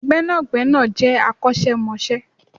Gbẹ́nàgbẹ́nà je akosemose